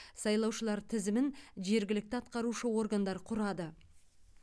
сайлаушылар тізімін жергілікті атқарушы органдар құрады